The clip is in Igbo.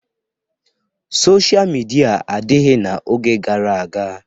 Sochịa midia adịghị n'oge gara aga.